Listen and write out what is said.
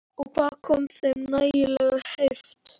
Og hvaðan kom þeim nægjanleg heift?